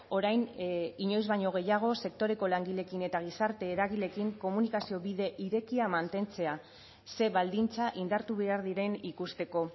orain inoiz baino gehiago sektoreko langileekin eta gizarte eragileekin komunikazio bide irekia mantentzea ze baldintza indartu behar diren ikusteko